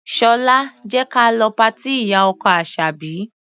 Ṣọlá, jẹ́ ka lọ patí ìyá-ọkọ Àṣàbí.